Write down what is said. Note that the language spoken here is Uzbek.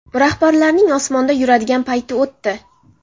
Rahbarlarning osmonda yuradigan payti o‘tdi.